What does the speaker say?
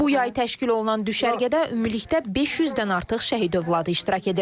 Bu yay təşkil olunan düşərgədə ümumilikdə 500-dən artıq şəhid övladı iştirak edir.